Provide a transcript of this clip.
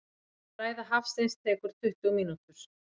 Ræða Hafsteins tekur tuttugu mínútur.